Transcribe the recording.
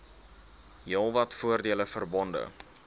heelwat voordele verbonde